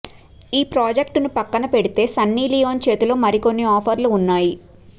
ఈ ప్రాజెక్టును పక్కన పెడితే సన్నీ లియోన్ చేతిలో మరి కొన్ని ఆఫర్లు ఉన్నాయి